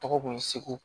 Tɔgɔ kun ye segu